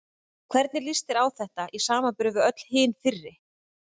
Og hvernig líst þér á þetta í samanburði við öll hin fyrri?